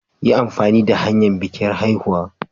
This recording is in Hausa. Yi amfani da hanyar bikin haihuwa.